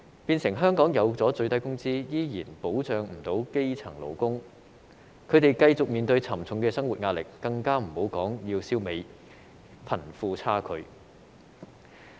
變成香港設有最低工資，依然未能保障基層勞工，他們繼續面對沉重的生活壓力，更不要說消弭貧富差距。